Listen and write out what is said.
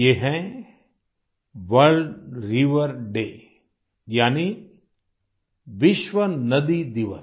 ये है world river day यानी विश्व नदी दिवस